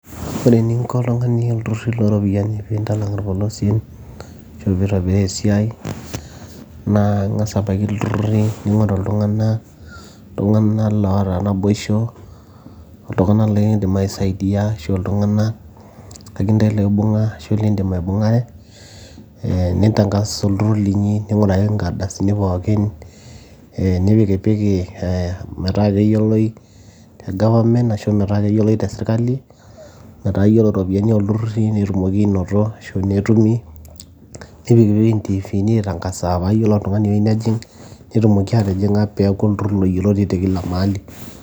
ore eninko oltung'ani ilturruri loropiyiani pintalang' irpolosien ashu pitobiraa esiai naa ing'as abaiki ilturruri ning'oru iltung'ana, iltung'ana loota naboisho iltung'ana lekindim ai saidia ashu iltung'anak akentae loibung'a ashu lindim aibung'are eh nintang'as olturrur linyi ning'uraki inkardasini pookin nipikipiki eh, metaa keyioloi te government ashu metaa keyioloi te sirkali metaa yiolo iropiyiani olturruri nitumokiki anoto ashu netumi nipikiki intifini aitang'asaa paa yiolo oltung'ani oyieu nejing netumoki atijing'a peeku olturrur loyioloti te kila mahali.